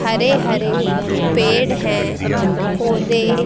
हरे हरे पेड़ हैं पौधे--